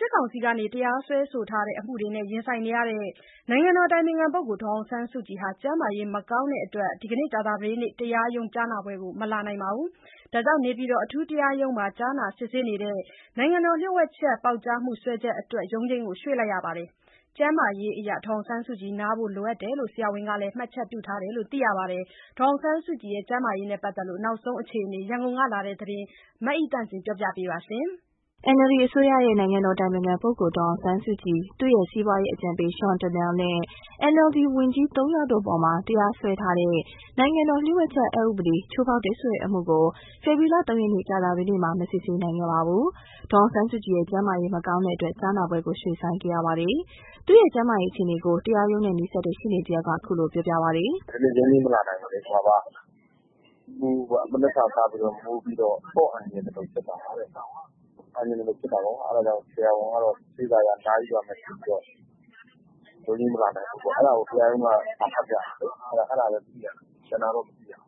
စ်ကောင်စီ တရားစွဲထားတဲ့အမှုတွေရင်ဆိုင်နေရတဲ့ နိုင်ငံတော်အတိုင်ပင်ခံပုဂ္ဂိုလ် ဒေါ်အောင်ဆန်းစုကြည် ကျန်းမာရေး မကောင်းတဲ့အတွက် ကြာသပတေးနေ့က တရားရုံး ကြားနာပွဲကို မလာနိုင်ပါဘူး။ ဒါကြောင့် နေပြည်တော်အထူးတရားရုံးမှာ ကြားနာစစ်ဆေးနေတဲ့ နိုင်ငံတော်လျှို့ဝှက်ချက်ပေါက်ကြားမှု စွဲချက်အတွက် ရုံးချိန်းကို ရွှေ့လိုက်ရပါတယ်။ ကျန်းမာရေးအရ နားဖို့လိုအပ်တယ်လို့ ဆရာဝန်က မှတ်ချက်ပြုထားတယ်လို့ သိရပါတယ်။ ဒေါ်အောင်ဆန်းစုကြည် ကျန်းမာရေးနဲ့ပတ်သက်လို့ နောက်ဆုံးသိရတဲ့အခြေအနေ ရန်ကုန်ကလာတဲ့သတင်းကို မအိသန့်စင်က တင်ပြပေးထားပါတယ်။ NLD အစိုးရရဲ့ နိုင်ငံတော်အတိုင်ပင်ခံပုဂ္ဂိုလ် ဒေါ်အောင်ဆန်းစုကြည်၊ သူ့ရဲ့စီးပွားရေးအကြံပေး Sean Turnell နဲ့ NLD ဝန်ကြီး ၃ ဦးတို့အပေါ် တရားစွဲထားတဲ့ နိုင်ငံတော်လျှို့ဝှက်အက်ဥပဒေ ချိုးဖောက်တယ်ဆိုတဲ့အမှုကို ဖေဖော်ဝါရီ ၃ ရက် ကြာသပတေး နေ့မှာ မစစ်ဆေးနိုင်ခဲ့ပါဘူး။ ဒေါ်အောင်ဆန်းစုကြည် ကျန်းမာရေးမကောင်းတဲ့အတွက် ကြားနာပွဲ ရွှေ့ဆိုင်းခဲ့ရတာပါ။ သူ့ကျန်းမာရေးအခြေအနေကို တရားရုံးနဲ့နီးစပ်တဲ့ ရှေ့နေတဦးက ခုလိုပြောပြပါတယ်။ “ဒီနေ့ ရုံးချိန်းမလာနိုင်ဘူးလေ။ မနက်စာစားပြီး မူးပြီး အော့အန်ချင်သလိုဖြစ်တာတဲ့၊ အန်ချင်သလိုဖြစ်တော့ ဆရာဝန် ဆေးစာအရ အနားယူရမယ်ဆိုပြီးတော့ ရုံးချိန်းမလာနိုင်ဘူးပေါ့၊ အဲဒါကို တရားရုံးမှာ လာဖတ်ပြတယ်လေ။ အဲဒါပဲသိတာပါ။ ကျန်တာတော့မသိရဘူး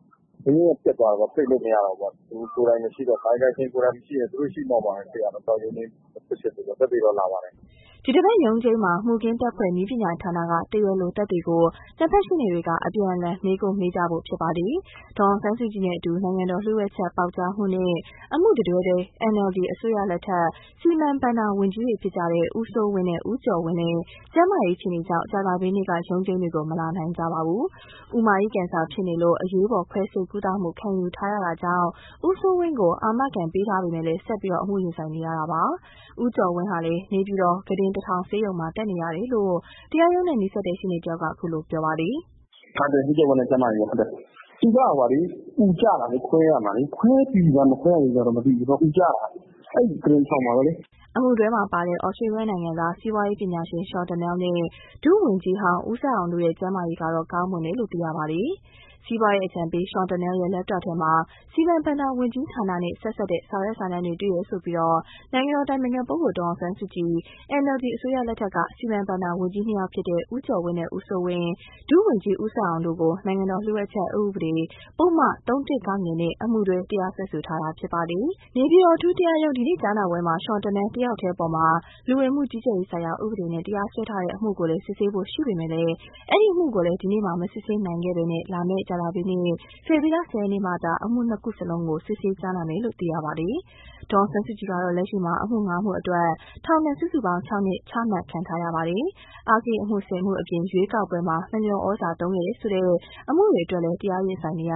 ။ ရုံးချိန်းကပျက်သွားတယ်။ စစ်လို့မရဘူးပေါ့၊ လူကိုယ်တိုင်မရှိတော့လေ။ ကာယကံရှင်ရှေ့မှာပဲ စစ်ရတယ်လေ။ အဲတော့ရုံးချိန်းမစစ်ဖြစ်ဘူး။ သက်သေတော့လာပါတယ်။” ဒီတပတ်ရုံးချိန်းမှာ မူခင်းတပ်ဖွဲ့ နည်းပညာဌာနက တရားလိုသက်သေကို နှစ်ဘက်ရှေ့နေတွေက အပြန်အလှန် မေးခွန်းမေးကြဖို့ ဖြစ်ပါတယ်။ ဒေါ်အောင်ဆန်းစုကြည်နဲ့အတူ နိုင်ငံတော်လျှို့ဝှက်ချက်ပေါက်ကြားမှုနဲ့ အမှုတတွဲတည်း NLD အစိုးရလက်ထက် စီမံဘဏ္ဍာဝန်ကြီးတွေဖြစ်ကြတဲ့ ဦးစိုးဝင်းနဲ့ ဦးကျော်ဝင်းလည်း ကျန်းမာရေးအခြေအနေကြောင့် ကြာသပတေးနေ့က ရုံးချိန်းတွေကို မလာနိုင်ကြပါဘူး။ အူမကြီးကင်ဆာဖြစ်နေလို့ အရေးပေါ် ခွဲစိတ်ကုသမှုခံယူထားရတာကြောင့် ဦးစိုးဝင်းကို အာမခံပေးထားပေမဲ့ ဆက်ပြီး အမှုရင်ဆိုင်နေရပါတယ်။ ဦးကျော်ဝင်းဟာလည်း နေပြည်တော် ကုတင် ၁,၀၀၀ ဆေးရုံမှာ တက်နေရတယ်လို့ တရားရုံးနဲ့နီးစပ်တဲ့ ရှေ့နေတဦးက ခုလိုပြောပြပါတယ်။ “ဦးကျော်ဝင်းလည်း ကျန်းမာရေးကြောင့်ပဲ။ သူက အူကျတာလေ။ ခွဲပြီးလား မပြီးလားတော့မသိဘူး။ အဲဒီကုတင် ၁,၀၀၀ မှာပဲ။” အမှုတွဲမှာပါတဲ့ သြစတြေးလျနိုင်ငံသား စီးပွားရေးပညာရှင် Sean Turnell နဲ့ ဒုဝန်ကြီးဟောင်း ဦးဆက်အောင်တို့ရဲ့ ကျန်းမာရေးကတော့ ကောင်းမွန်တယ်လို့ သိရပါတယ်။ စီးပွါးရေးအကြံပေး Sean Turnell ရဲ့ Laptop ထဲမှာ စီမံဘဏ္ဍာ ဝန်ကြီးဌာနနဲ့ဆက်စပ်တဲ့ စာရွက်စာတမ်း တွေ့တယ်လို့ဆိုပြီး နိုင်ငံတော်အတိုင်ပင်ခံပုဂ္ဂိုလ် ဒေါ်အောင်ဆန်းစုကြည်၊ NLD အစိုးရလက်ထက်က စီမံဘဏ္ဍာဝန်ကြီးနှစ်ဦးဖြစ်တဲ့ ဦးကျော်ဝင်းနဲ့ ဦးစိုးဝင်း၊ ဒုဝန်ကြီး ဦးဆက်အောင်တို့ကို နိုင်ငံတော်လျှို့ဝှက်ချက်အက် ဥပဒေပုဒ်မ ၃-၁ (ဂ) နဲ့ အမှုတွဲ တရားစွဲဆိုထားတာ ဖြစ်ပါတယ်။ နေပြည်တော်အထူးတရားရုံး ဒီနေ့ကြားနာပွဲမှာ Sean Turnell တဦးတည်းအပေါ် လူဝင်မှုကြီး ကြပ်ရေးဆိုင်ရာဥပဒေနဲ့ တရားစွဲထားတဲ့အမှုကိုလည်း စစ်ဆေးဖို့ရှိပေမယ့် အဲဒီအမှုကိုလည်း ဒီကနေ့ မစစ်ဆေးနိုင်ခဲ့ဘဲ လာမယ့် ကြာသပတေးနေ့ ဖေဖော်ဝါရီ ၁၀ ရက်နေ့မှသာ အမှုနှစ်ခုစလုံးကို စစ်ဆေးကြားနာမယ်လို့သိရပါတယ်။ ဒေါ်အောင်ဆန်းစုကြည်ကတော့ လက်ရှိမှာ အမှု ၅ မှုအတွက် ထောင်ဒဏ် စုစုပေါင်း ၆ နှစ် ချမှတ်ခံထားရပါတယ်။ အဂတိအမှု ၁၀ မှုအပြင် ရွေးကောက်ပွဲမှာ မလျော်ဩဇာ သုံးခဲ့တယ်လို့ဆိုတဲ့ အမှုတွေအတွက်လည်း တရားရင်ဆိုင်နေရ